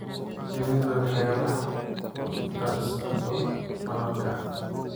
Shinnidu waxay wax ku darsato malabka.